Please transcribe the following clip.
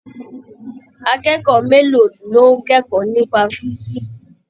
Akẹ́kọ̀ọ́ mélòó ló ń kẹ́kọ̀ọ́ nípa físíìsì?